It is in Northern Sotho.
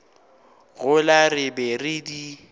gola re be re di